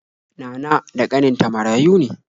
Nana da ƙaninta marayu ne.